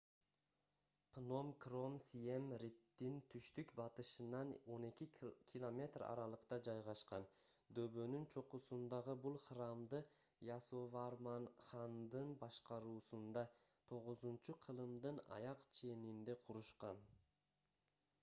пном кром сием риптин түштүк-батышынан 12 км аралыкта жайгашкан дөбөнүн чокусундагы бул храмды ясоварман хандын башкаруусунда 9-кылымдын аяк ченинде курушкан